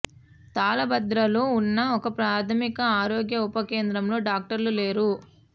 తాళ్ళభద్రలో ఉన్న ఒక ప్రాథమిక ఆరోగ్య ఉప కేంద్రంలో డాక్టర్లు లేరు